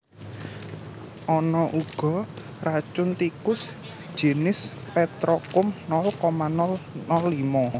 Ana uga racun tikus jinis petrokum nol koma nol nol limo